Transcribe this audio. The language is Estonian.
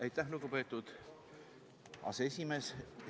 Aitäh, lugupeetud aseesimees!